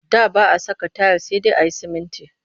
Da ba a saka tayil sai dai a yi sumunti